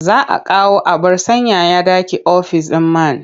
Za a kawo abar sanyaya ɗaki ofis ɗin man.